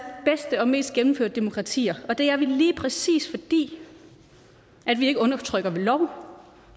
bedste og mest gennemførte demokratier og det er vi lige præcis fordi vi ikke undertrykker ved lov